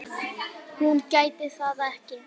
Hún gæti það ekki.